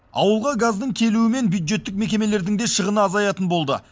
ауылға газдың келуімен бюджеттік мекемелердің де шығыны азаятын болды